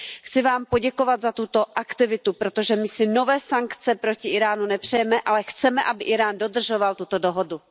Chci vám poděkovat za tuto aktivitu, protože my si nové sankce proti Íránu nepřejeme, ale chceme, aby Írán dodržoval tuto dohodu.